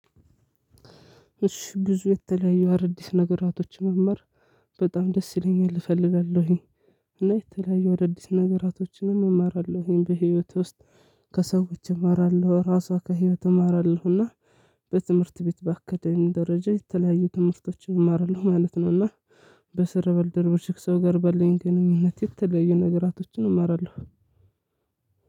እሺ ብዙ የተለያየ አዳዲስ ነገራቶች መማር በጣም ደስ ይለኛል እፈልጋለሁኝ። እና የተለያዩ ወደ አዳዲስ ነገራቶችንም እማራለሁኝ በህይወት ውስጥ ከሰዎች እማራለሁ ራሷ ከህይወት እማራለሁና። በትምህርት ቤት ባካዳሚ ደረጃ የተለያዩ ትምህርቶችን እማራለሁ ማለት ነውና። በስራ ባልደረቦች ከሰው ጋር ባለኝ ግኑኝነት የተለያዩ ነገራቶችን እማራለሁ።